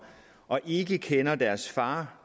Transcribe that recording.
og ikke kender deres far